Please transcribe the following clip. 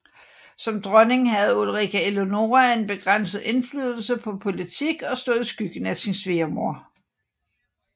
Som dronning havde Ulrika Eleonora en begrænset indflydelse på politik og stod i skyggen af sin svigermor